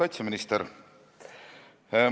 Auväärt kaitseminister!